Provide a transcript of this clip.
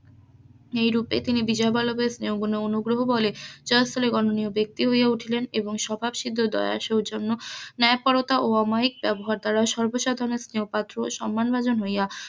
এই রুপে তিনি বিজয় বল্লভের স্নেহ পুর্ণ অনুগ্রহ বলে জয়স্থলের বর্ণণীয় ব্যাক্তি হইয়া উঠিলেন এবং স্বভাব সিদ্ধ দয়া সৌজন্য ন্যায় পরানয়তা ও অমায়িক ব্যবহার দ্বারা সর্ব সাদরে স্নেহের পাত্র ও সম্মান ভাজন হইয়া,